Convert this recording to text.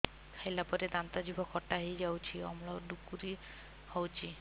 ଖାଇଲା ପରେ ଦାନ୍ତ ଜିଭ ଖଟା ହେଇଯାଉଛି ଅମ୍ଳ ଡ଼ୁକରି ହଉଛି